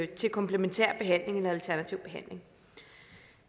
til komplementær behandling eller alternativ behandling